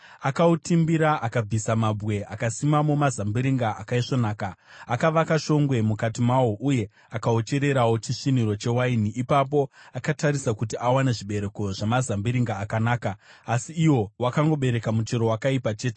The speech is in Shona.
Akautimbira akabvisa mabwe akasimamo mazambiringa akaisvonaka. Akavaka shongwe mukati mawo uye akauchererawo chisviniro chewaini. Ipapo akatarisa kuti awane zvibereko zvamazambiringa akanaka, asi iwo wakangobereka muchero wakaipa chete.